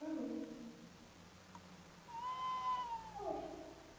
Ah, não. Ah